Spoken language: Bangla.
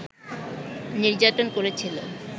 নির্যাতন করেছিল